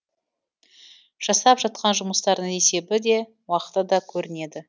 жасап жатқан жұмыстардың есебі де уақыты да көрінеді